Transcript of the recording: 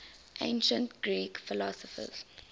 ancient greek philosophers